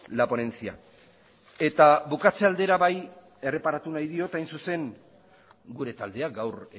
la ponencia eta bukatze aldera bai erreparatu nahi diot hain zuzen gure taldeak gaur